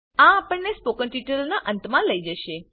આ આપણને સ્પોકન ટ્યુટોરિયલના અંત મા લઇ જશે